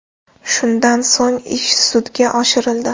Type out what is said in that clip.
Shundan so‘ng ish sudga oshirildi.